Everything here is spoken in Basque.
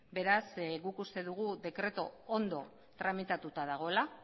beraz guk uste dugu dekretua ondo tramitatua dagoela